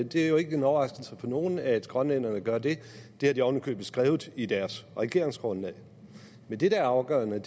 det er jo ikke en overraskelse for nogen at grønlænderne gør det det har de oven i købet skrevet i deres regeringsgrundlag men det der er afgørende